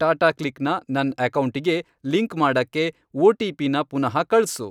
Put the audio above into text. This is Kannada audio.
ಟಾಟಾಕ್ಲಿಕ್ ನ ನನ್ ಅಕೌಂಟಿಗೆ ಲಿಂಕ್ ಮಾಡಕ್ಕೆ ಒ.ಟಿ.ಪಿ.ನ ಪುನಃ ಕಳ್ಸು.